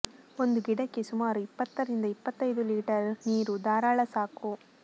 ಒಂದು ಗಿಡಕ್ಕೆ ಸುಮಾರು ಇಪ್ಪತ್ತರಿಂದ ಇಪ್ಪತ್ತೈದು ಲೀಟರ್ ನೀರು ಧಾರಾಳ ಸಾಕು